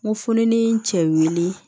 N ko fu ni n cɛ wili